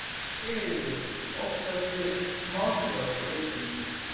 Sigríður: Óttastu málþóf í vikunni?